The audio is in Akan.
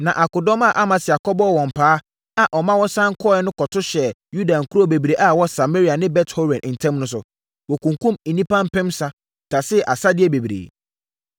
Na akodɔm a Amasia kɔbɔɔ wɔn paa a ɔma wɔsane kɔeɛ no tohyɛɛ Yuda nkuro bebree a ɛwɔ Samaria ne Bet-Horon ntam no so. Wɔkunkumm nnipa mpensa, tasee asadeɛ bebree.